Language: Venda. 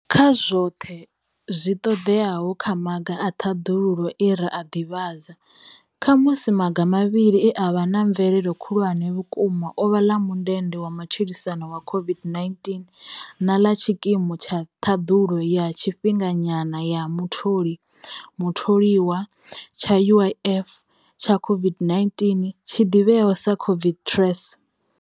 Kha zwoṱhe zwi ṱoḓeaho kha maga a ṱhaḓulo e ra a ḓivhadza, khamusi maga mavhili e a vha na mvelelo khulwane vhukuma o vha ḽa mundende wa matshilisano wa COVID-19 na ḽa tshikimu tsha Ṱhaḓulo ya tshifhinganyana ya Mutholi, Mutholiwa tsha UIF tsha COVID-19, tshi ḓivheaho sa COVID TERS.